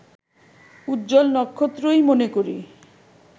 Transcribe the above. উজ্জ্বল নক্ষত্রই মনে করি